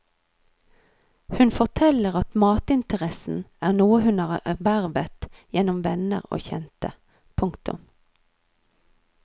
Hun forteller at matinteressen er noe hun har ervervet gjennom venner og kjente. punktum